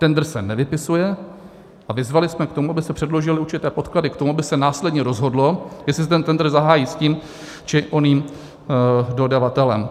Tendr se nevypisuje a vyzvali jsme k tomu, aby se předložily určité podklady k tomu, aby se následně rozhodlo, jestli se ten tendr zahájí s tím, či oním dodavatelem.